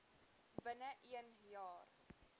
binne een jaar